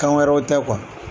Kan wɛrɛw tɛ